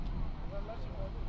Nə iş görmək olar?